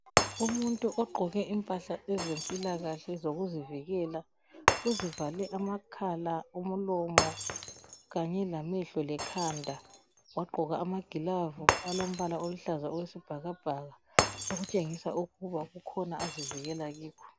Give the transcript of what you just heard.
Umuntu ogqoke impahla ezempilakahle ezokuzivikela uzivale amakhala, umlomo kanye lamehlo lekhanda. Wagqoka amagilavu alombala oluhlaza okwesibhakabhaka okutshengisa ukuba kukhona azivikela kikho.